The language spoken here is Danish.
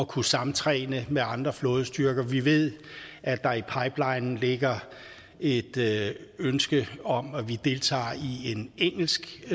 kunne samtræne med andre flådestyrker vi ved at der i pipelinen ligger et ønske om at vi deltager i en engelsk